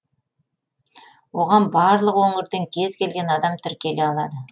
оған барлық өңірден кез келген адам тіркеле алады